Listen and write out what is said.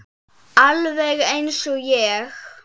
Alveg eins og ég!